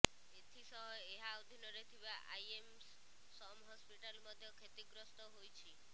ଏଥି ସହ ଏହା ଅଧୀନରେ ଥିବା ଆଇଏମସ୍ ସମ୍ ହସ୍ପିଟାଲ ମଧ୍ୟ କ୍ଷତିଗ୍ରସ୍ତ ହୋଇଛି